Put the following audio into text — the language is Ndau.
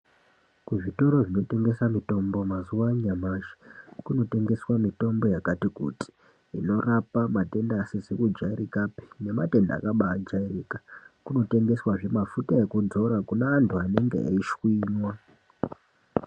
Kuzvitoro zvinotengesa mitombo mazuwa anyamashi, kunotengeswa mitombo yakati kuti, inorapa matenda asizi kujairikapi, nematenda akabaajairika . Kunotengeswazve mafuta ekudzora kune antu anenga eishwinywa.